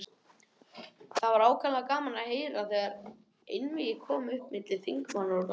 Það var ákaflega gaman að heyra, þegar einvígi kom upp milli þingmanna úr landshlutunum.